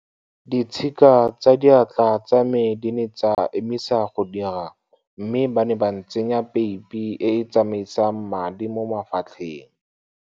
Ditshika tsa diatla tsa me di ne tsa emisa go dira mme ba ne ba ntsenya peipi e e tsamaisang madi mo mafatlheng.